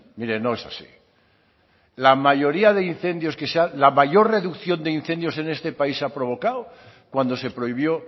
mire no es así la mayoría de incendios que se ha la mayor reducción de incendios en este país se ha provocado cuando se prohibió